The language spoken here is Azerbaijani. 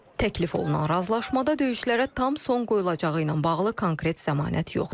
Təklif olunan razılaşmada döyüşlərə tam son qoyulacağı ilə bağlı konkret zəmanət yoxdur.